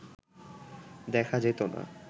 দেখা যেত না